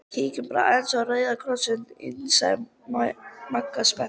Kíkjum bara aðeins á Rauða Kross- inn sagði Magga spennt.